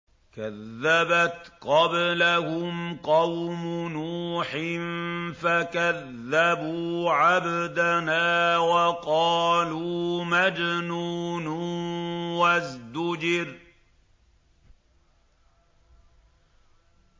۞ كَذَّبَتْ قَبْلَهُمْ قَوْمُ نُوحٍ فَكَذَّبُوا عَبْدَنَا وَقَالُوا مَجْنُونٌ وَازْدُجِرَ